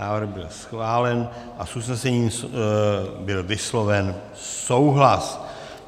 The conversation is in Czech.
Návrh byl schválen a s usnesením byl vysloven souhlas.